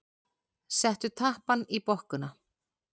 Settu tappann í bokkuna.